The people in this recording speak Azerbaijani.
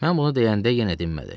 Mən bunu deyəndə yenə dinmədi.